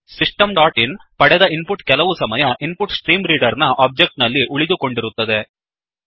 system dot in ಪಡೆದ input ಕೆಲವುಸಮಯ InputStreamReaderಇನ್ಪು ಟ್ಸ್ಟ್ರೀ ಮ್ರೀಟಡರ್ ನ ಒಬ್ಜೆಕ್ಟ್ ನಲ್ಲಿ ಉಳಿದುಕೊಂಡಿರುತ್ತದೆ